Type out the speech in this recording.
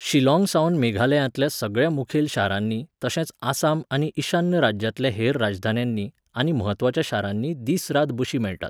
शिलाॉंगसावन मेघालयांतल्या सगळ्या मुखेल शारांनी, तशेंच आसाम आनी ईशान्य राज्यांतल्या हेर राजधान्यांनी, आनी म्हत्वाच्या शारांनी दीस रात बशी मेळटात.